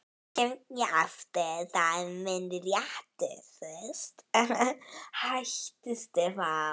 Svo kem ég aftur, það er minn réttur.